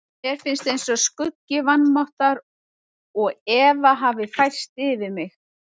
Mér finnst eins og skuggi vanmáttar og efa hafi færst yfir mig.